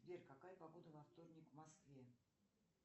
сбер какая погода во вторник в москве